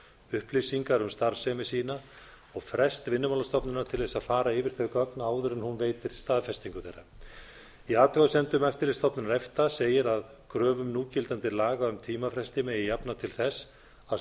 upplýsingar um starfsemi sína og frest vinnumálastofnunar til þess að fara yfir þau gögn áður en hún veitir staðfestingu þeirra í athugasemdum eftirlitsstofnunar efta segir að kröfum núgildandi laga um tímafresti megi jafna til þess að